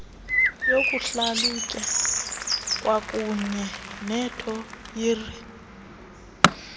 yokuhlalutya kwakuunye nethiyori